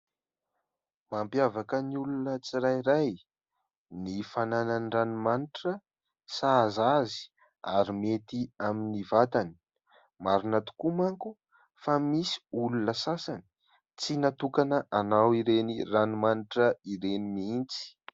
Mampiavaka ny olona tsirairay ny fananany ranomanitra sahaza azy ary mety amin'ny vatany. Marina tokoa manko fa misy olona sasany tsy natokana hanao ireny ranomanitra ireny mihitsy.